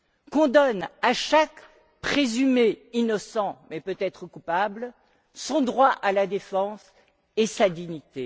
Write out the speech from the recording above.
Qu'on donne à chaque présumé innocent, mais peut être coupable, son droit à la défense et sa dignité.